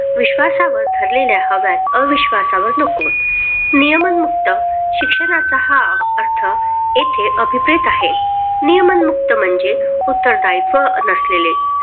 विश्वासावर ठरलेल्या हव्यात अविश्वासावर नको, नियमन मुक्त शिक्षणाचा हा अर्थ येथे अभिप्रेत आहे. नियमन मुक्त म्हणजे उत्तरदायित्व नसलेले